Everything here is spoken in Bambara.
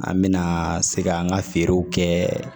An mɛna se ka an ka feerew kɛ